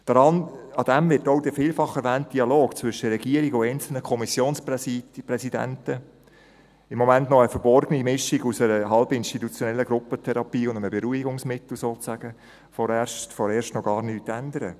Daran wird auch der vielfach erwähnte Dialog zwischen der Regierung und einzelnen Kommissionspräsidenten – im Moment noch eine verborgene Mischung aus einer halbinstitutionellen Gruppentherapie und einem Beruhigungsmittel sozusagen – vorerst noch gar nichts ändern.